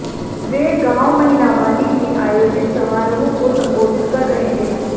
वे गांव महिलावाली में आयोजित समारोह को संबोधित कर रहे थे